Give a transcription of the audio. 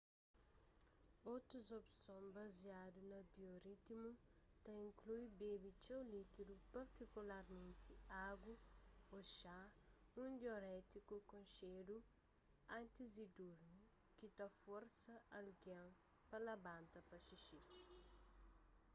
otus opson baziadu na bioritmu ta inklui bebe txeu líkidu partikularmenti agu ô xá un diurétiku konxedu antis di durmi ki ta forsa algen pa labanta pa xixi